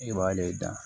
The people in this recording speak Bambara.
I b'ale da